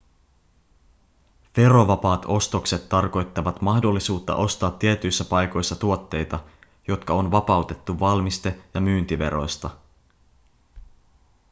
verovapaat ostokset tarkoittavat mahdollisuutta ostaa tietyissä paikoissa tuotteita jotka on vapautettu valmiste- ja myyntiveroista